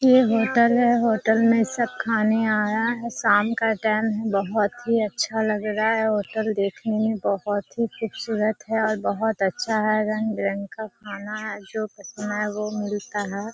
ये होटल है होटल में सब खाने आया है शाम का टाइम है बहुत ही अच्छा लग रहा है होटल देखने में बहुत ही खूबसूरत है और बहुत ही अच्छा है रंग-बिरंग का खाना है जो पसंद है वो मिलता है।